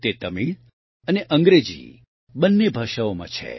તે તમિળ અને અંગ્રેજી બંને ભાષાઓમાં છે